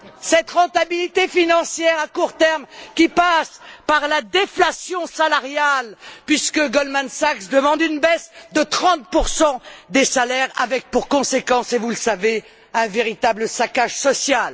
Cette rentabilité financière à court terme passe par la déflation salariale, puisque Goldman Sachs demande une baisse de 30 des salaires, avec pour conséquence, et vous le savez, un véritable saccage social.